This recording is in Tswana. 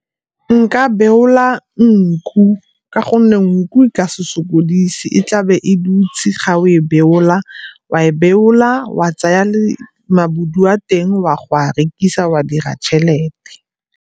Nka beola nku, ka gonne nku e ka se sokodise, e tlabe e dutse ga o e beola, wa e beola, wa tsaya le a teng o a go a rekisa wa dira tšhelete.